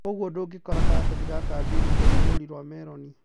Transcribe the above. Koguo ndungikora Karatathi ga Kabeinĩ kena rũũri rwa meloni